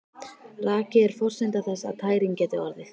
Raki er forsenda þess að tæring geti orðið.